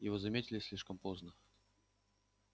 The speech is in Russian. его заметили слишком поздно